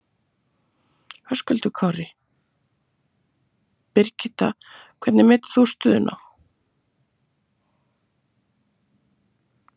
Höskuldur Kári: Birgitta, hvernig metur þú stöðuna?